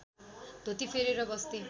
धोती फेरेर बस्थे